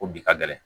Ko bi ka gɛlɛn